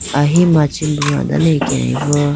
ahi machi bro dane akebo.